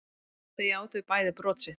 Þau játuðu bæði brot sitt